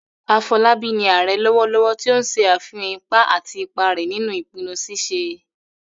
Afolabi ni "Ààrẹ " lọwọlọwọ, ti o n ṣe afihan ipa àti ipa rẹ̀ nínú ìpinnu ṣíṣe